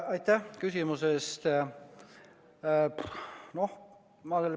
Aitäh küsimuse eest!